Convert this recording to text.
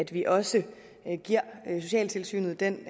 vi også socialtilsynet en